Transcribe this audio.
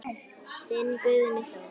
Þinn Guðni Þór.